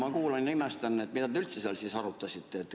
Ma kuulan ja imestan, et mida te üldse seal arutasite.